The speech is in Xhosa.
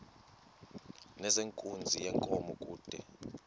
nezenkunzi yenkomo kude